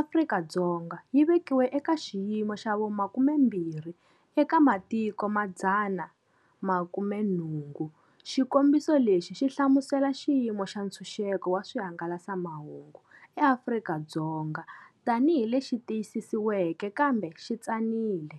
Afrika-Dzonga yi vekiwe eka xiyimo xa vu 20 eka matiko ma 180. Xikombiso lexi xi hlamusela xiyimo xa ntshunxeko wa swihangalasamahungu eAfrika-Dzonga tanihi lexi tiyisisiweke kambe xi tsanile.